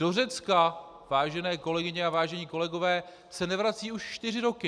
Do Řecka - vážené kolegyně a vážení kolegové - se nevrací už čtyři roky!